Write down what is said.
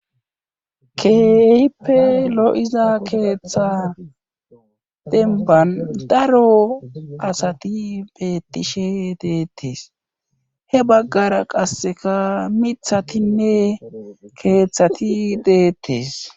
Keehippe lo'iza keeththa demban daro asati beettishe deettees he baggara qasseka mithatinne keeththati deettes.